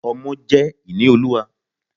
Ọmọ jẹ́ ìní Olúwa.